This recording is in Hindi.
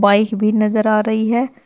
बाइक भी नजर आ रही है।